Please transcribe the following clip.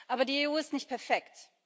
Aber die EU ist nicht perfekt.